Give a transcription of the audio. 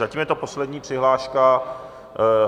Zatím je to poslední přihláška.